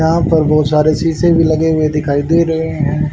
यहा पर बहुत सारे शीशे भी लगे हुए दिखाई दे रहे है।